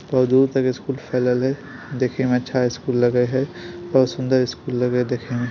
बहुत दूर तक स्कूल फैलल है देखे में अच्छा स्कूल लागै है। बहुत सुंदर स्कूल लगे देखे में--